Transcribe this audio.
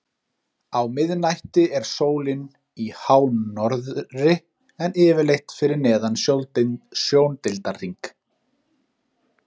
Á miðnætti er sólin í hánorðri en yfirleitt fyrir neðan sjóndeildarhring.